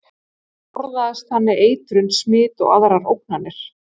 Það forðaðist þannig eitrun, smit og aðrar ógnir.